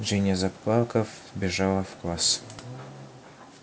джинни заплакав бежала в класс